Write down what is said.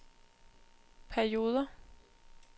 perioder